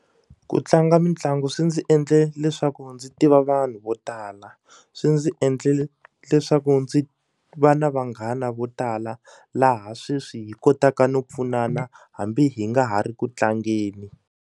Ku tlanga mitlangu swi ndzi endle leswaku ndzi tiva vanhu vo tala swi ndzi endle leswaku ndzi va na vanghana vo tala laha sweswi hi kotaka no pfunana hambi hi nga ha ri ku tlangeni.